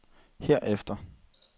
herefter